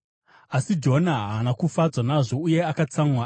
Asi Jona haana kufadzwa nazvo uye akatsamwa.